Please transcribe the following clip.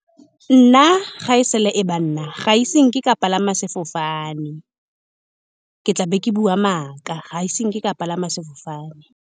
Nna, ga e sala e ba nna ga se nke ka palama sefofane ke tlabe ke bua maaka. Ga se nke ka palama sefofane.